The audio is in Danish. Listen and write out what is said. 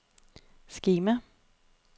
skema